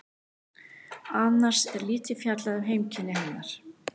Annars er lítið fjallað um heimkynni hennar.